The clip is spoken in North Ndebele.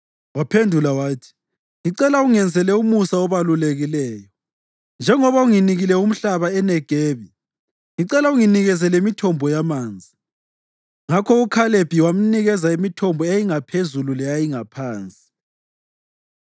Waphendula wathi, “Ngicela ungenzele umusa obalulekileyo. Njengoba unginike umhlaba eNegebi, ngicela unginike lemithombo yamanzi.” Ngakho uKhalebi wamnika imithombo eyayingaphezulu leyayingaphansi.